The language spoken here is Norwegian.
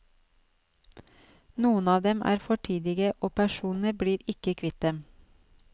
Noen av dem er fortidige, og personene blir ikke kvitt dem.